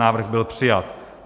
Návrh byl přijat.